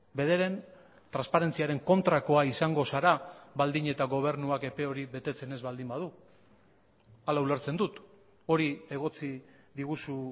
bederen transparentziaren kontrakoa izango zara baldin eta gobernuak epe hori betetzen ez baldin badu hala ulertzen dut hori egotzi diguzu